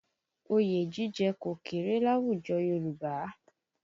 Oyè jíjẹ kò kéré láwùjọ Yorùbá